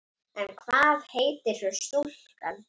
En hvað heitir svo stúlkan?